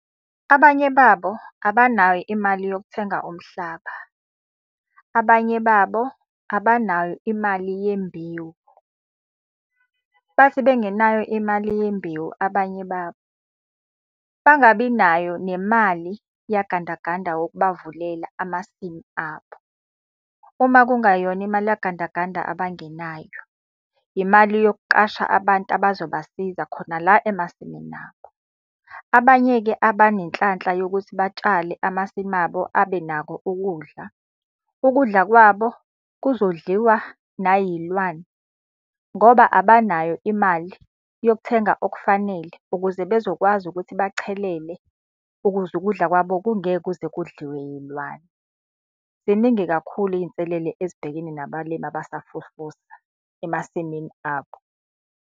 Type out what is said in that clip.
Abanye babo abanayo imali yokuthenga umhlaba. Abanye babo abanayo imali yembewu. Bathi bengenayo imali yembewu abanye babo, bangabi nayo nemali yagandaganda wokubavulela amasimu abo. Uma kungayona imali yagandaganda abangenayo, imali yokuqasha abantu abazobasiza khona la emasimini abo. Abanye-ke abanenhlanhla yokuthi batshale amasimu abo abenakho ukudla, ukudla kwabo kuzodliwa nayilwane. Ngoba abanayo imali yokuthenga okufanele ukuze bezokwazi ukuthi bachelele ukuze ukudla kwabo kungeke kuze kudliwe yilwane. Ziningi kakhulu iy'nselele ezibhekene nabalimi abasafufusa emasimini abo.